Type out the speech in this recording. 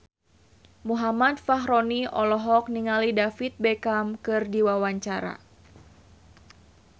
Muhammad Fachroni olohok ningali David Beckham keur diwawancara